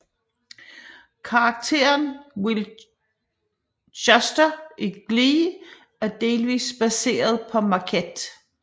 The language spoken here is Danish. Karakteren Will Schuester i Glee er delvis baseret på Marquette